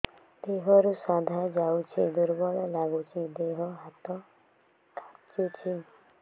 ଦେହରୁ ସାଧା ଯାଉଚି ଦୁର୍ବଳ ଲାଗୁଚି ଦେହ ହାତ ଖାନ୍ଚୁଚି